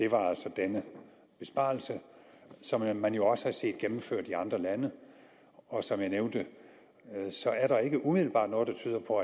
var altså denne besparelse som man man jo også har set gennemført i andre lande og som jeg nævnte er der ikke umiddelbart noget der tyder på